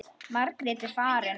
Margrét er farin.